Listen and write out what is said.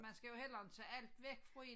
Man skal jo heller inte tage alt væk fra én